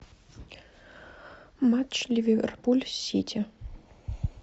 матч ливерпуль с сити